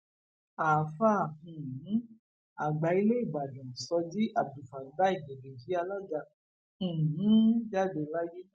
àáfàá um àgbà ilé ìbàdàn shoji abdulfatai gegeji alaga um jáde láyé